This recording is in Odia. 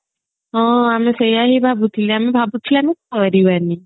ହଁ ଆମେ ସେଇଆ ହିଁ ଭାବୁଥିଲେ ଆମେ ଭାବୁଥିଲେ ଆମେ କରିବାନି